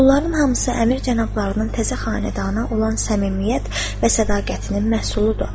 Bunların hamısı Əmir cənablarının təzə xanədana olan səmimiyyət və sədaqətinin məhsuludur.